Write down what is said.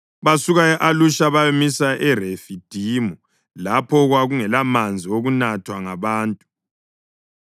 Basuka e-Alusha bayamisa eRefidimu, lapho okwakungelamanzi okunathwa ngabantu.